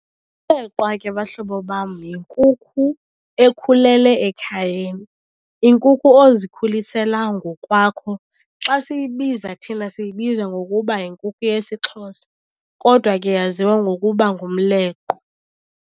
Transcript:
Umleqwa ke bahlobo bam yinkukhu ekhulele ekhayeni, inkukhu ozikhulisela ngokwakho. Xa siyibiza thina siyibiza ngokuba yinkukhu yesiXhosa, kodwa ke yaziwa ngokuba ngumleqwa.